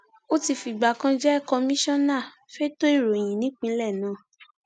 ó ti fìgbà kan jẹ kọmíṣánná fẹtọ ìròyìn nípínlẹ náà